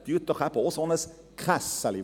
Erstellen Sie auch ein solches «Kässeli».